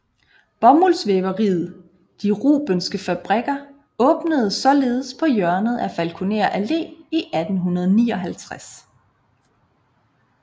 Bomuldsvæveriet De Rubenske Fabrikker åbnede således på hjørnet af Falkoner Allé i 1859